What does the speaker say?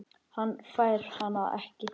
Hann fær hana ekki.